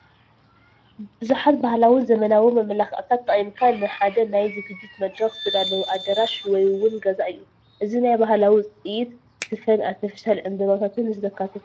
ብዙሓት ባህላው ዘበናውን መመላኽዒታት ተጠቒምካ ንሓደ ናይ ዝግጅት መድረኽ ዝተዳለወ ኣዳራሽ ወይ ውን ገዛ እዩ፡፡ እዚ ናይ ባህላዊ ውፅኢት ስፈን ኣርቴፊሻል ዕንበባታትን ዘካተተ እዩ፡፡